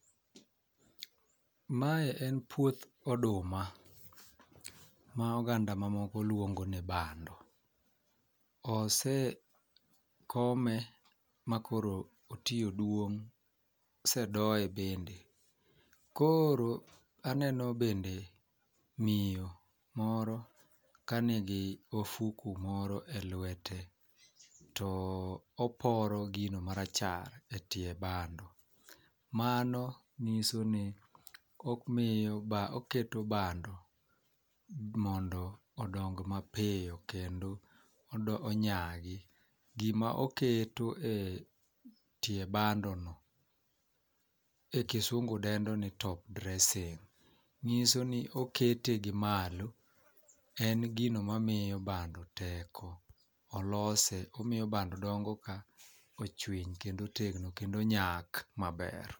Mae en puoth oduma ma oganda mamoko luongo ni bando. Osekome makoro otii oduong' osedoye bede koro aneno bende miyo moro kanigi ofuku moro e lwete to oporo gino marachar e tie bado. Mano nyiso ni omiyo bad oketo bando modo odong mapiyo kendo onyagi .Gima oketo e tie bado no e kisungu dendo ni top dressing ng'iso ni okete gi malo en gino mamiyo bando teko olose omiyo bando dongo ka ochwiny kendo otegno kendo onyak maber.